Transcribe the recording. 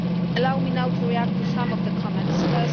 Allow me now to react to some of the comments made.